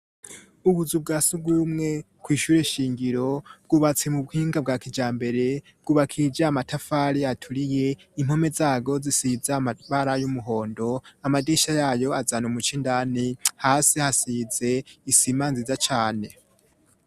Ubuzu bwa sugumwe kw' ishure shingiro bwubatse mu buhinga bwa kijambere, bwubakishije amatafari aturiye, impome zabwo zisize amabara y'umuhondo amadirisha yayo azana umuco indani hasi hasize isima nziza cane.